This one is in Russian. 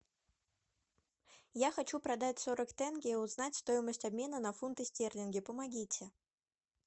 я хочу продать сорок тенге и узнать стоимость обмена на фунты стерлинги помогите